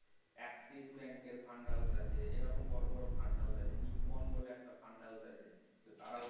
axis bank এর Fund এরকম বড় বড় fund house আছে nippon বলে একটা fund house আছে তারাও